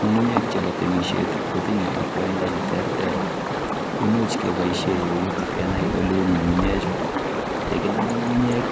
Ng'ung'unyek chepo temishet kotinye akwoindo neterter. Imuch keboishe eut kenai oleu ng'ung'unyechu. Yekinam ng'ung'unyek